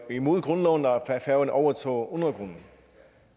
imod grundloven at færøerne overtog undergrunden